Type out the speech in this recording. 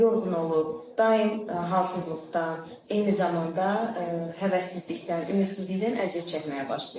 Yorğun olur, daim halsızlıqdan, eyni zamanda həvəssizlikdən, ümidsizlikdən əziyyət çəkməyə başlayır.